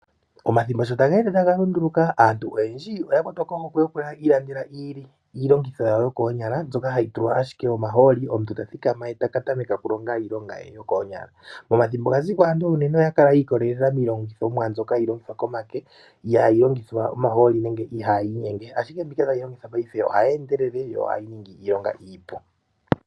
Omathimbo sho ta geende taga lunduluka aantu oyendji oya kwatwa kohokwe yokwiilandela iilongitho yawo yokoonyala mbyoka hayi tulwa ashike omahooli, omuntu ta thikama ye taka tameke okulonga iilonga ye yokoonyala. Momathimbo ga ziko unene aantu oya li yiikolelela miilongithomwa mbyoka hayi longithwa komake ihayi longitha omahooli nenge ihayi inyenge ashike mbika tayi longithwa paife ohayi endelele yo ohayi ningi iilonga iipu.